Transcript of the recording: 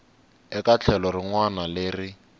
eka tlhelo rin wana leri